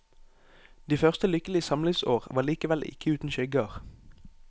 De første lykkelige samlivsår var likevel ikke uten skygger.